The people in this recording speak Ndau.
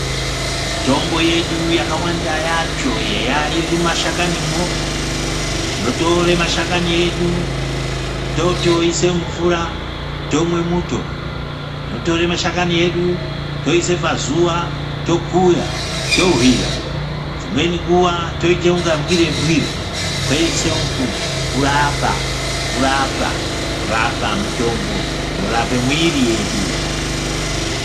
Mitombo yedu yakawanda yacho eya iri mumashakanimwo tinotore mashakani edu totoise mumvura tomwe muto totore mashakani edu toise pazuwa tokuya tohwira dzimweni nguwa toite kunga mbwire-mbwire kwese uku kurapa, kurapa, kurapa mitombo inorape mwiri yedu.